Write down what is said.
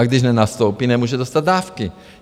A když nenastoupí, nemůže dostat dávky.